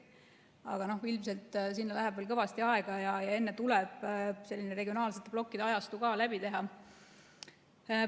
Aga ilmselt sinna läheb veel kõvasti aega ja enne tuleb regionaalsete blokkide ajastu ka läbi teha.